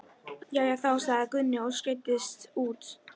Jæja þá, sagði Gunni og skreiddist út.